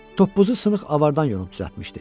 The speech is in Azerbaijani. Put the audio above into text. Toppuzu sınıq avardan yonub düzəltmişdi.